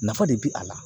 Nafa de bi a la